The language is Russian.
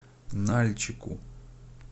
нальчику